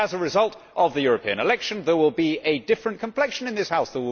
that, as a result of the European election, there will be a different complexion in this House